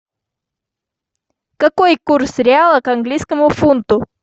какой курс реала к английскому фунту